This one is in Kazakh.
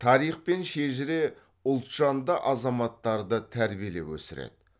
тарих пен шежіре ұлтжанды азаматтарды тәрбиелеп өсіреді